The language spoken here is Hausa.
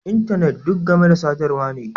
Intanet duk game da sadarwa ne